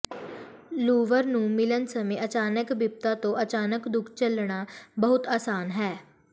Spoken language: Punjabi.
ਲੂਵਰ ਨੂੰ ਮਿਲਣ ਸਮੇਂ ਅਚਾਨਕ ਬਿਪਤਾ ਤੋਂ ਅਚਾਨਕ ਦੁੱਖ ਝੱਲਣਾ ਬਹੁਤ ਆਸਾਨ ਹੈ